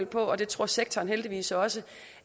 på og det tror sektoren heldigvis også